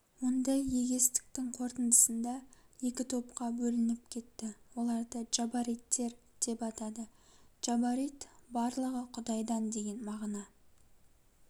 ондай егестіктің корытындысында екі топқа бөлініп кетті оларды джабариттер деп атады джабарит барлығы құдайдан деген мағына